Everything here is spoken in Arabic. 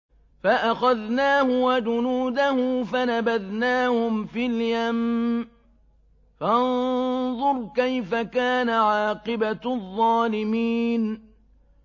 فَأَخَذْنَاهُ وَجُنُودَهُ فَنَبَذْنَاهُمْ فِي الْيَمِّ ۖ فَانظُرْ كَيْفَ كَانَ عَاقِبَةُ الظَّالِمِينَ